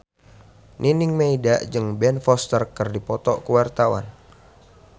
Nining Meida jeung Ben Foster keur dipoto ku wartawan